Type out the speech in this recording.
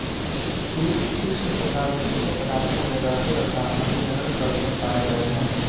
कीट तीक्ष्ण तथा विषेले पदार्थों में रहते तथा अभिजनन करते पाए गए हैं